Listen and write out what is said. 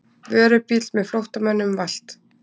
Vörubíll með flóttamönnum valt